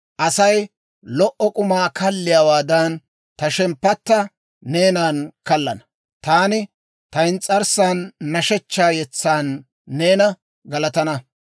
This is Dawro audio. Asay lo"o k'umaa kalliyaawaadan, ta shemppatta neenan kallana. Taani ta ins's'arssan nashshechchaa yetsan neena galatana.